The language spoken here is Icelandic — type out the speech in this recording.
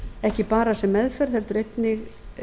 ekki bara sem meðferð heldur einnig